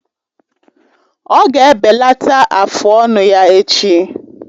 Ọ ga-ebelata afụ ọnụ ya echi.